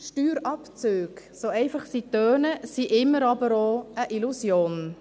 Steuerabzüge, so einfach das klingt, sind immer auch eine Illusion.